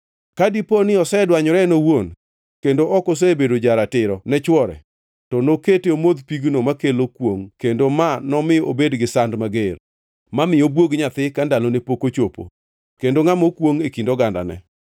Ka dipo ni osedwanyore en owuon kendo ok osebedo ja-ratiro ne chwore, to nokete omodh pigno makelo kwongʼ, kendo ma nomi obed gi sand mager; ma mi obwog nyathi ka ndalone pok ochopo kendo ngʼama okwongʼ e kind ogandane.